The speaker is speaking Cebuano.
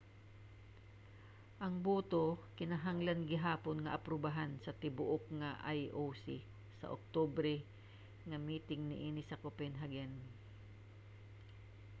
ang boto kinahanglan gihapon nga aprubahan sa tibuok nga ioc sa oktubre nga miting niini sa copenhagen